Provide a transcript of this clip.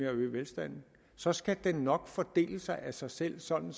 at øge velstanden så skal den nok fordele sig af sig selv sådan